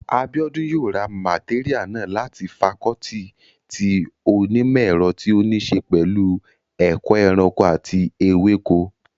Abíọ́dún yóò ra màtéríà náà láti fakọọti ti onímọ̀ ẹ̀rọ tí ó ní ṣe pẹ̀lú ẹ̀kọ́ ẹranko àti ewéko